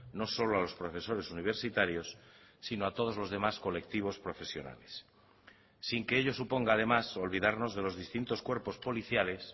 no solo a los profesores universitarios sino a todos los demás colectivos profesionales sin que ello suponga además olvidarnos de los distintos cuerpos policiales